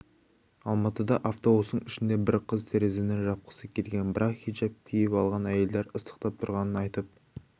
алматыда автобустың ішінде бір қыз терезені жапқысы келген бірақ хиджап киіп алған әйелдер ыстықтап тұрғанын айтып